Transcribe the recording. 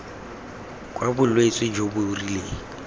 kwa bolwetse jo bo rileng